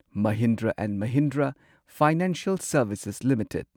Mahindra and Mahindra financial services limited